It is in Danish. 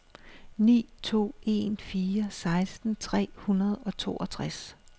ni to en fire seksten tre hundrede og toogtres